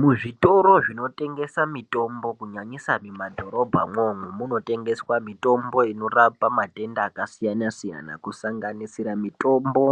Muzvitoro zvinotengesa mitombo kunyangisa mumadhorobha mwoumo munotengeswa mitombo inorapa matenda akasiyanasiyana kusanganisira mitombo